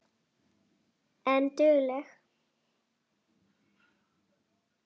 En dugleg.